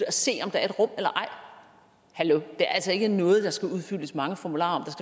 at se om der er et rum eller ej hallo det er altså ikke noget der skal udfyldes mange formularer om